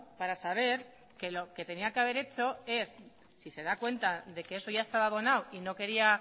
para saber que lo que tenía que haber hecho es si se da cuenta de que eso ya estaba abonado y no quería